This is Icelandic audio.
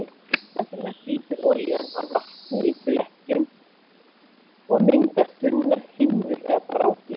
Þess vegna flýtur olían á vatni í flekkjum og myndar þunnar himnur eða brákir.